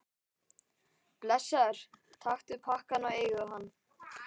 Blessaður, taktu pakkann og eigðu hann.